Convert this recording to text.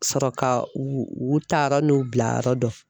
Sɔrɔ ka u u u ta yɔrɔ n'u bila yɔrɔ dɔn.